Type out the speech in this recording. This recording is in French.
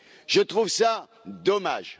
Je trouve cela dommage.